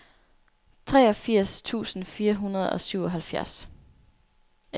treogfirs tusind fire hundrede og syvoghalvfjerds